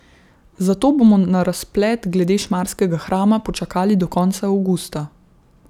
Zato bomo na razplet glede Šmarskega hrama počakali do konca avgusta.